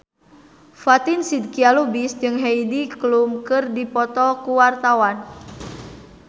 Fatin Shidqia Lubis jeung Heidi Klum keur dipoto ku wartawan